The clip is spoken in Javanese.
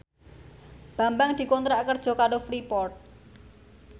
Bambang dikontrak kerja karo Freeport